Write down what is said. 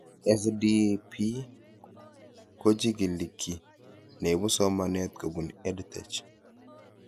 SDP kochig'ili kiy neipu somanet kopun EdTech